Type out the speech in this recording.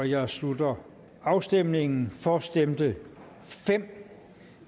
jeg slutter afstemningen for stemte fem